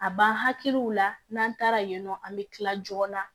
A b'an hakiliw la n'an taara yen nɔ an bɛ kila joona